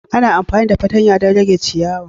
Ana amfani da fatanya don rage ciyawa